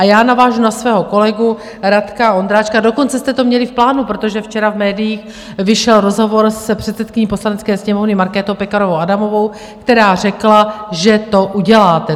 A já navážu na svého kolegu Radka Vondráčka - dokonce jste to měli v plánu, protože včera v médiích vyšel rozhovor s předsedkyní Poslanecké sněmovny Markétou Pekarovou Adamovou, která řekla, že to uděláte.